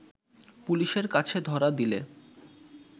পুলিশের কাছে ধরা দিলে